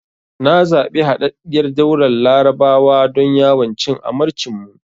Na zabi Haɗaɗɗiyar Daular Larabawa don yawon cin amarcin mu.